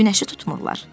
Günəşi tutmurlar.